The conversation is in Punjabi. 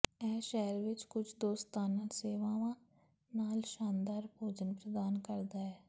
ਇਹ ਸ਼ਹਿਰ ਵਿਚ ਕੁਝ ਦੋਸਤਾਨਾ ਸੇਵਾਵਾਂ ਨਾਲ ਸ਼ਾਨਦਾਰ ਭੋਜਨ ਪ੍ਰਦਾਨ ਕਰਦਾ ਹੈ